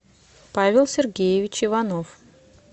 павел сергеевич иванов